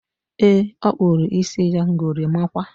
E, ọ kpụrụ isi ya gorimakwa